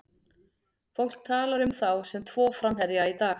Fólk talar um þá sem tvo framherja í dag.